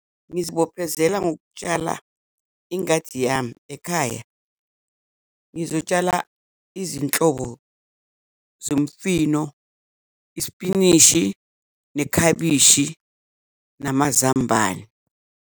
Ngizibophezela ngokutshala ingadi yami ekhaya, ngizotshala izinhlobo zomifino, isipinishi, nekhabishi, namazambane.